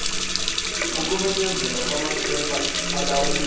ukumenyezelwa kwamachweba alawulwa